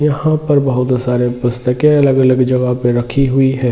यहां पर बहुत सारे जगह पर पुस्तके अलग - अलग जगह पे रखी हुई है ।